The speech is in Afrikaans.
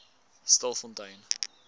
stilfontein